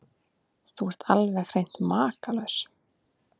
Þú ert alveg hreint makalaus!